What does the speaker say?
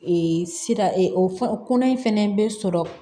sira ee o fɛn kɔnɔ in fɛnɛ bɛ sɔrɔ